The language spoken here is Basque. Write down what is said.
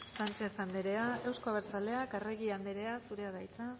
sánchez andrea euzko abertzaleak arregi andrea zurea da hitza